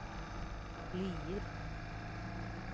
Lier